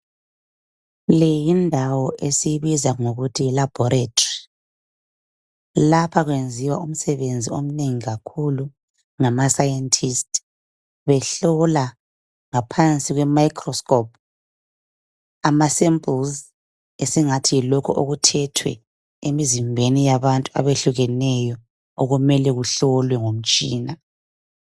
Le yindawo esiyibiza ngokuthi yi laboratory lapha kwenziwa umsebenzi omnengi kakhulu ngama scientist behlola ngaphansi kwe microscope amasamples esingathi yilokhu okuthethwe emzimbeni yabantu abehlukeneyo okumelwe kuhlolwe ngomtshina.